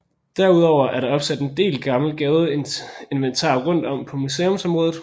Derudover er der opsat en del gammelt gadeinventar rundt om på museumsområdet